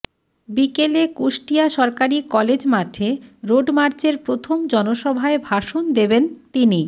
বিকেলে কুষ্টিয়া সরকারি কলেজ মাঠে রোডমার্চের প্রথম জনসভায় ভাষণ দেবেন তিনি